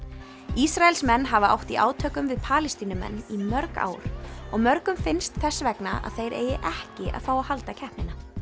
Ísraelsmenn hafa átt í átökum við Palestínumenn í mörg ár og mörgum finnst þess vegna að þeir eigi ekki að fá að halda keppnina